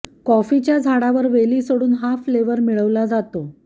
कॉफीच्या झाडावर वेली सोडून हा फ्लेव्हर मिळवला जातो